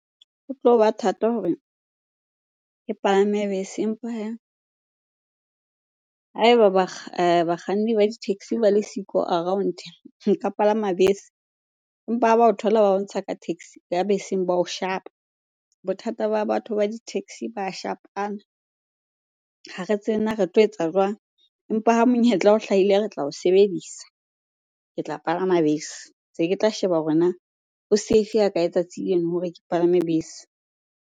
Ho tloba thata hore ke palame bese empa hee ha eba bakganni ba di-taxi ba le siko around, ke ka palama bese. Empa ha ba o thola ba bontsha ka taxi, ka beseng ba o shapa. Bothata ba batho ba di-taxi ba shapana. Ha re tsebe na re tlo etsa jwang? Empa ha monyetla o hlahile re tla o sebedisa. Ke tla palama bese, tse ke tla sheba hore na ho save ha kae tsatsi leno hore ke palame bese.